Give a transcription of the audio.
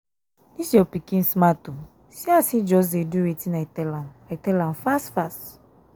dis your pikin smart oo see as he just dey do wetin i tell am i tell am fast fast